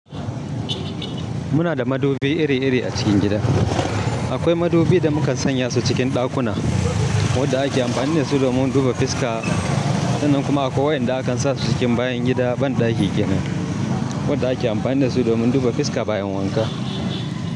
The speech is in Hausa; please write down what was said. Muna da madubi iri-iri a cikin gida. Akwai madubi da mukan sanya su cikin ɗakuna waɗanda ake amfani da su domin duba fiska, wannan kuma akwai waɗanda akan sa su cikin bayan gida banɗaki gidan waɗanda ake amfani da su domin duba fiska bayan wanka.